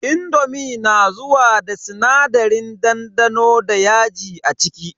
indomi na zuwa da sinadarin dandano da yaji a ciki.